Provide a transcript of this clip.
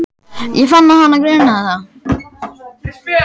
Ég fann að hana grunaði það.